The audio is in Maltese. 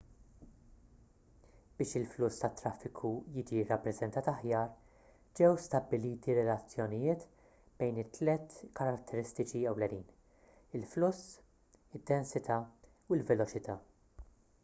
biex il-fluss tat-traffiku jiġi rrappreżentat aħjar ġew stabbiliti relazzjonijiet bejn it-tliet karatteristiċi ewlenin: 1 il-fluss 2 id-densità u 3 l-veloċità